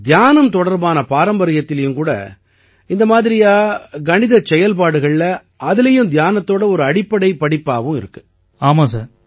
இப்ப தியானம் தொடர்பான பாரம்பரியத்திலயும் கூட இந்த மாதிரியா கணிதச் செயல்பாடுகள்ல அதிலயும் தியானத்தோட ஒரு அடிப்படை படிப்பாவும் இருக்கு